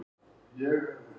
Ó Bangsalega sígræna sál.